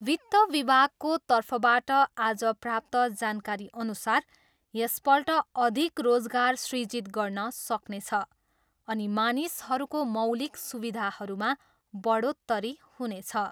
वित्त विभागको तर्फबाट आज प्राप्त जानकारीअनुसार यसपल्ट अधिक रोजगार सृजित गर्न सक्नेछ अनि मानिसहरूको मौलिक सुविधाहरूमा बढोत्तरी हुनेछ।